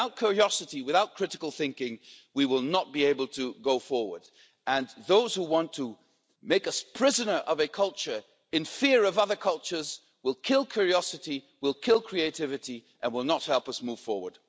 Without curiosity, without critical thinking, we will not be able to go forward and those who want to make us prisoner of a culture in fear of other cultures will kill curiosity, will kill creativity and will not help us move forward.